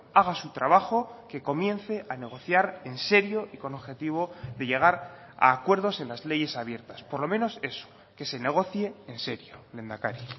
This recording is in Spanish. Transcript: haga su trabajo que comience a negociar en serio y con objetivo de llegar a acuerdos en las leyes abiertas por lo menos eso que se negocie en serio lehendakari